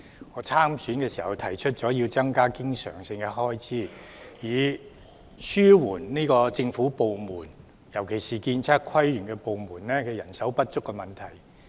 我參選時提出要增加經常性開支，以紓緩政府部門，特別是"建測規園"部門人手不足的問題。